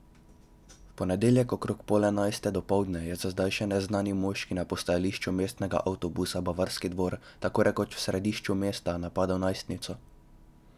V ponedeljek okrog pol enajste dopoldne je za zdaj še neznani moški na postajališču mestnega avtobusa Bavarski dvor, tako rekoč v središču mesta, napadel najstnico.